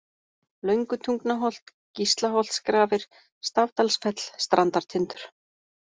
Löngutungnaholt, Gíslaholtsgrafir, Stafdalsfell, Strandartindur